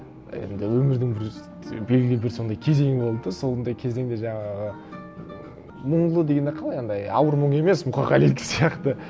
енді өмірдің бір белгілі бір сондай кезеңі болды да сондай кезеңде жаңағы мұнлы дегенде қалай анандай ауыр мұн емес мұқағалидікі сияқты